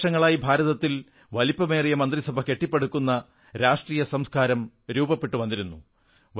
പല വർഷങ്ങളായി ഭാരതത്തിൽ വലിപ്പമേറിയ മന്ത്രിസഭ കെട്ടിപ്പടുക്കുന്ന രാഷ്ട്രീയ സംസ്കാരം രൂപപ്പെട്ടുവന്നു